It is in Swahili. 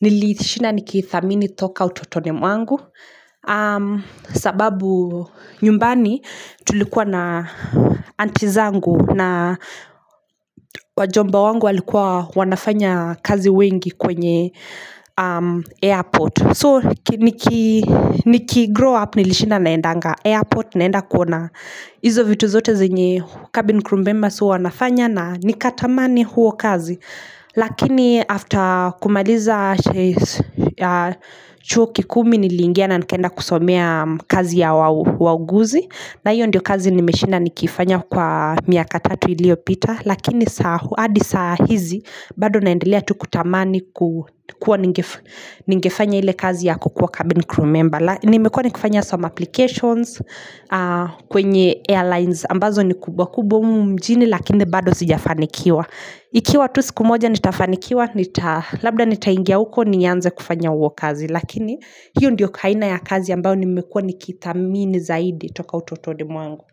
nilishinda niki ithamini toka utotoni mwangu. Sababu nyumbani tulikuwa na auntie zangu na wajomba wangu walikuwa wanafanya kazi wengi kwenye airport. So niki niki nikigrow up nilishinda naendanga airport naenda kuona Izo vitu zote zenye cabin crew members huwa anafanya na nikatamani huo kazi Lakini after kumaliza chuo kikuu mi nilingia na nikaenda kusomea kazi ya wau wauguzi na hiyo ndio kazi nimeshinda nikifanya kwa miaka tatu ilio pita lakini saa huu hadi saa hizi bado naendelea tu kutamani kuwa ningefanya ile kazi ya kukuwa cabin crew member Nimekuwa nikifanya some applications kwenye airlines ambazo ni kubwa kubwa humu mjini lakini bado sijafanikiwa Ikiwa tu siku moja nitafanikiwa nita labda nitaingia huko nianze kufanya huo kazi lakini hiyo ndio kaina ya kazi ambayo nimekuwa nikithamini zaidi toka utotoni mwangu.